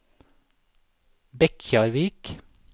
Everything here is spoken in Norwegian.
Bekkjarvik